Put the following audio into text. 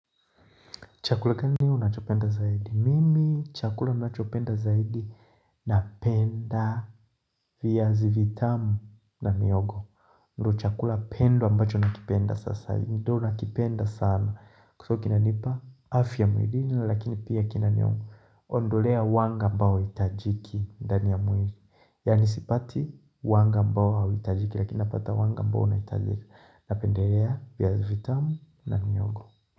Chakula gani unachopenda zaidi? Mimi chakula nachopenda zaidi napenda viazi vitamu na mihogo. Ndio chakula pendo ambacho nakipenda sasa. Ndio nakipenda sana. Huwa kinanipa afya mwilini lakini pia kinaniondolea wanga mbao hauhitajiki ndani ya mwili. Yani sipati wanga mbao hauhitajiki lakini napata wanga ambao unahitajika napendelea viazi vitamu na mihogo.